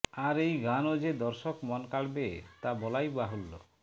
আর এই গানও যে দর্শক মন কাড়বে তা বলাই বাহুল্য